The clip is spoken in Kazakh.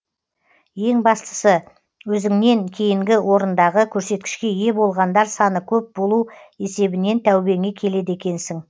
ең бастысы өзіңнен кейінгі орындағы көрсеткішке ие болғандар саны көп болу есебінен тәубеңе келеді екенсің